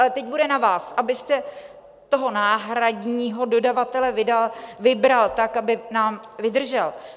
Ale teď bude na vás, abyste toho náhradního dodavatele vybral tak, aby nám vydržel.